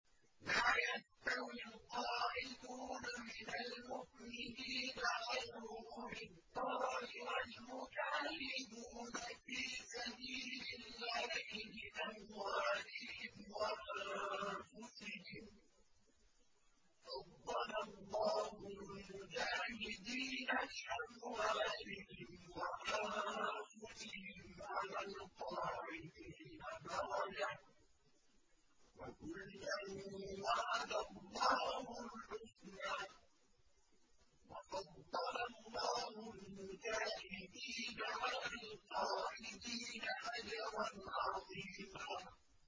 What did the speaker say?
لَّا يَسْتَوِي الْقَاعِدُونَ مِنَ الْمُؤْمِنِينَ غَيْرُ أُولِي الضَّرَرِ وَالْمُجَاهِدُونَ فِي سَبِيلِ اللَّهِ بِأَمْوَالِهِمْ وَأَنفُسِهِمْ ۚ فَضَّلَ اللَّهُ الْمُجَاهِدِينَ بِأَمْوَالِهِمْ وَأَنفُسِهِمْ عَلَى الْقَاعِدِينَ دَرَجَةً ۚ وَكُلًّا وَعَدَ اللَّهُ الْحُسْنَىٰ ۚ وَفَضَّلَ اللَّهُ الْمُجَاهِدِينَ عَلَى الْقَاعِدِينَ أَجْرًا عَظِيمًا